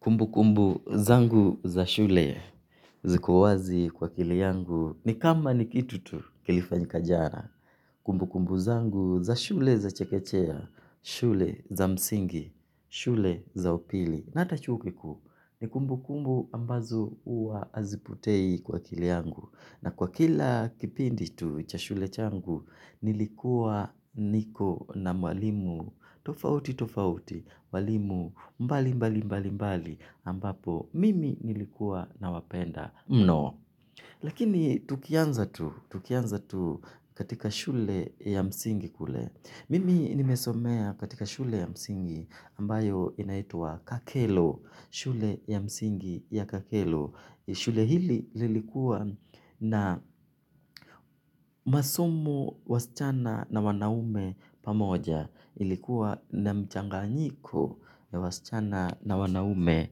Kumbukumbu zangu za shule ziko wazi kwa akili yangu ni kama ni kitu tu kilifanyika jana. Kumbukumbu zangu za shule za chekechea, shule za msingi, shule za upili. Na hata chuo kikuu ni kumbukumbu ambazo huwa hazipotei kwa akili yangu. Na kwa kila kipindi tu cha shule changu, nilikuwa niko na mwalimu tofauti tofauti, mwalimu mbali mbali mbali mbali. Ambapo mimi nilikuwa nawapenda mno. Lakini tukianza tu, tukianza tu katika shule ya msingi kule. Mimi nimesomea katika shule ya msingi ambayo inaitwa kakelo. Shule ya msingi ya kakelo. Shule hili lilikuwa na masomo wasichana na wanaume pamoja. Ilikuwa na mchanganyiko na wasichana na wanaume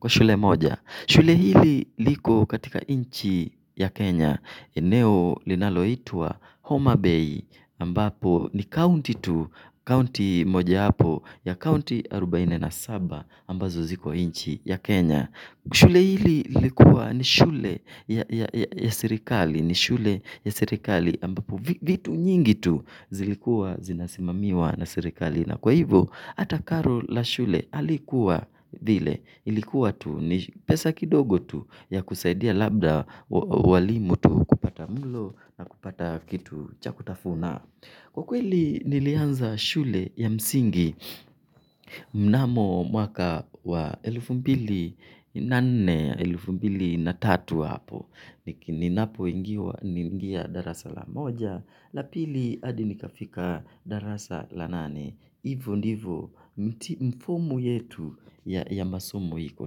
kwa shule moja. Shule hili liko katika inchi ya Kenya. Eneo linaloitwa Homa Bay ambapo ni county tu. County moja wapo ya county arobaini na saba ambazo ziko nchi ya Kenya. Shule hili lilikuwa ni shule ya serikali. Ni shule ya serikali ambapo vitu nyingi tu zilikua zinasimamiwa na serikali. Na kwa hivo, hata karo la shule halikuwa vile. Ilikuwa tu ni pesa kidogo tu ya kusaidia labda walimu tu kupata mlo na kupata kitu cha kutafuna kwa kweli nilianza shule ya msingi mnamo mwaka wa elfu mbili na nne, elfu mbili na tatu hapo. Ninapoingia darasa la moja, la pili hadi nikafika darasa la nane hivo ndivo mfumo yetu ya masomo hiko.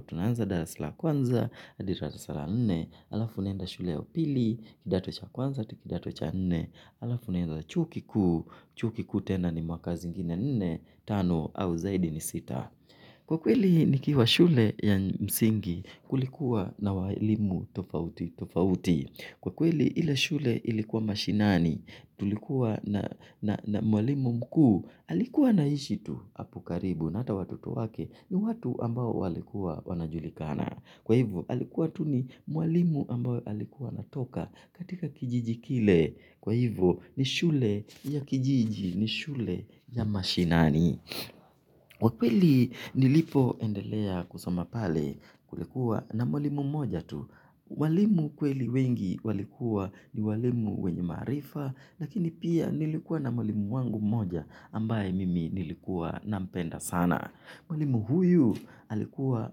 Tunaanza darasa la kwanza, hadi darasa la nne alafu unaenda shule ya upili, kidato cha kwanza, hadi kidato cha nne alafu unenda chuo kikuu, chuo kikuu tena ni mwaka zingine nne, tano au zaidi ni sita kwa kweli nikiwa shule ya msingi kulikuwa na walimu tofauti tofauti. Kwa kweli ile shule ilikuwa mashinani tulikuwa na mwalimu mkuu alikuwa anaishi tu apo karibu na hata watoto wake ni watu ambao walikuwa wanajulikana. Kwa hivyo alikuwa tu ni mwalimu ambao alikuwa anatoka katika kijiji kile. Kwa hivyo ni shule ya kijiji ni shule ya mashinani. Kwa kweli nilipoendelea kusoma pale, kulikuwa na mwalimu mmoja tu walimu kweli wengi walikuwa ni walimu wenye maarifa lakini pia nilikuwa na mwalimu wangu mmoja ambaye mimi nilikuwa nampenda sana mwalimu huyu alikuwa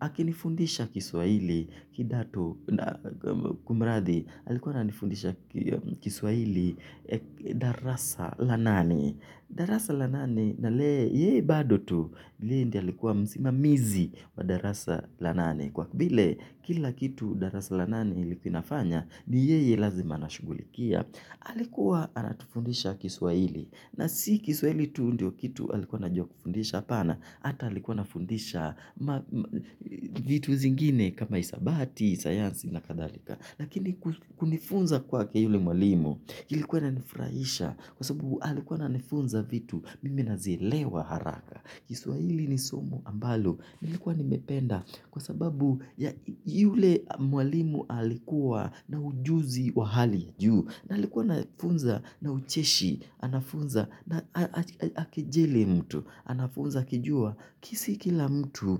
akinifundisha kiswahili kidato kumradhi alikuwa ananifundisha kiswahili darasa la nane darasa la nane na yeye bado tu yeye ndio alikuwa msimamizi wa darasa la nane kwa vile kila kitu darasa la nane ilikuwa inafanya ni yeye lazima anashughulikia alikuwa anatufundisha kiswahili na si kiswahili tu ndio kitu alikuwa anajua kufundisha hapana ata alikuwa anafundisha vitu zingine kama hisabati, sayansi na kadhalika lakini kunifunza kwake yule mwalimu ilikuwa inanifurahisha kwa sababu alikuwa ananifunza vitu, mimi nazielewa haraka. Kiswahili ni somo ambalo, nilikuwa nimependa. Kwa sababu ya yule mwalimu alikuwa na ujuzi wa hali juu. Na alikuwa anafunza na ucheshi, anafunza na hakejeli mtu. Anafunza akijua, si kila mtu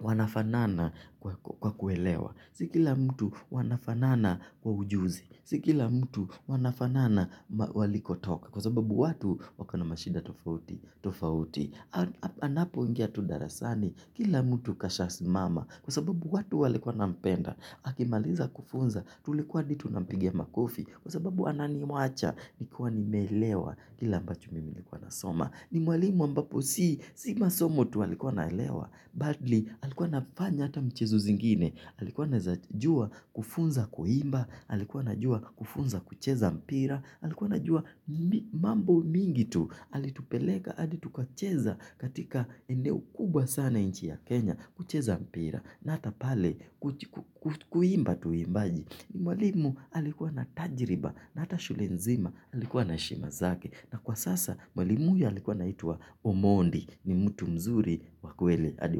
wanafanana kwa kuelewa. Si kila mtu wanafanana kwa ujuzi. Si kila mtu wanafanana walikotoka. Kwa sababu watu wako na mashida tofauti tofauti. Anapoingia tu darasani. Kila mtu kashasimama. Kwa sababu watu walikuwa wanampenda. Akimaliza kufunza. Tulikuwa hadi tunampigia makofi. Kwa sababu ananiwacha. Nikiwa nimeelewa. Kila ambacho mimi nilikuwa nasoma. Ni mwalimu ambapo si, si masomo tu alikuwa anaelewa bali alikuwa anafanya ata mchezo zingine alikuwa anaezajua kufunza kuimba alikuwa anajua kufunza kucheza mpira alikuwa anajua mambo mingi tu alitupeleka, hadi tukacheza katika eneo kubwa sana nchi ya Kenya. Kucheza mpira, na hata pale kuimba tuimbaji ni mwalimu alikuwa na tajiriba na hata shule nzima, alikuwa na heshima zake na kwa sasa mwalimu huyu alikuwa anaitwa Omondi ni mtu mzuri wa kweli hadi waleo.